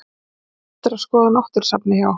Muna eftir að skoða náttúrusafnið hjá